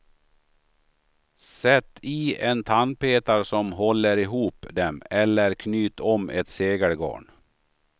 Sätt i en tandpetare som håller ihop dem eller knyt om ett segelgarn.